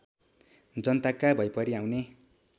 जनताका भैपरि आउने